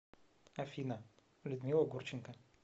афина людмила гурченко